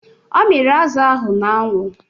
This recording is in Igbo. Ọ miri azụ ahụ n'anwụ.